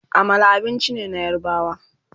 Amala abinci ne na yarbawa